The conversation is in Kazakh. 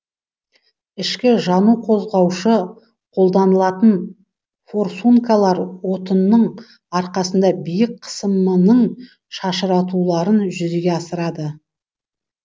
ішкі жану қозғаушы қолданылатын форсункалар отынның арқасында биік қысымының шашыратуларын жүзеге асырады